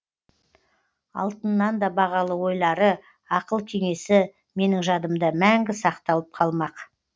алтыннан да бағалы ойлары ақыл кеңесі менің жадымда мәңгі сақталып қалмақ